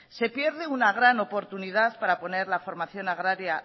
se pierde una gran oportunidad para poner la formación agraria